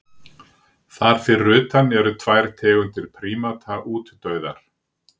Þar fyrir utan eru tvær tegundir prímata útdauðar.